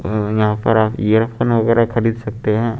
अं यहां पर आप ईयरफोन वगैरा खरीद सकते हैं।